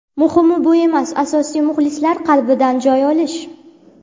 Muhimi bu emas, asosiysi muxlislar qalbidan joy olish.